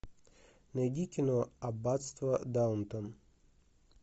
найди кино аббатство даунтон